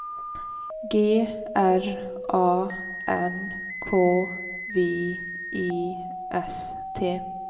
G R A N K V I S T